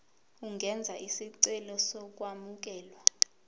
ungenza isicelo sokwamukelwa